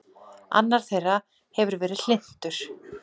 Annar þeirra hefði verið hlynntur